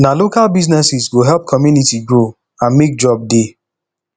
na local businesses go help community grow and mek job dey